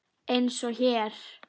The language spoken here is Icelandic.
Eins og hér.